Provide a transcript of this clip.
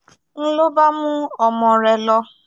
ń lọ bá mú ọmọ rẹ lọ